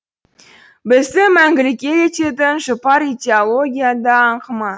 бізді мәңгілік ел ететін жұпар идеология да аңқыма